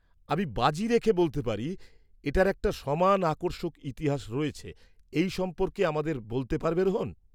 -আমি বাজি রেখে বলতে পারি এটার একটা সমান আকর্ষক ইতিহাস রয়েছে, এই সম্পর্কে আমাদের বলতে পারবে রোহণ?